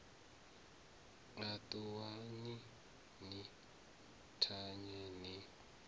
a ṱuwani ni thanye ni